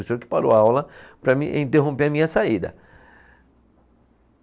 O senhor que parou a aula para me interromper a minha saída.